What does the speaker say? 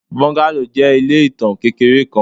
Bungalow jẹ ile itan kekere kan